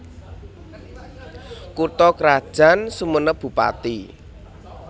Kutha krajan SumenepBupati